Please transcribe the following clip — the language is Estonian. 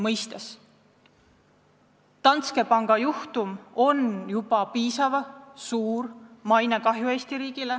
Danske panga juhtum on Eesti riigile tekitanud väga suurt mainekahju.